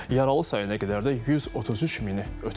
Yaralı sayı nə qədər də 133 mini ötüb.